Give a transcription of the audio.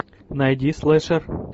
найди слэшер